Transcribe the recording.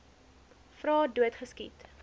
vra dood geskiet